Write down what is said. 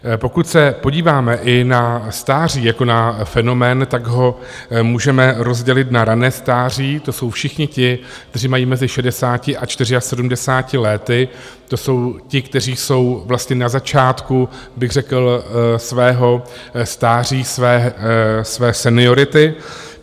Pokud se podíváme i na stáří jako na fenomén, tak ho můžeme rozdělit na rané stáří, to jsou všichni ti, kteří mají mezi 60 a 74 lety, to jsou ti, kteří jsou vlastně na začátku bych řekl svého stáří, své seniority.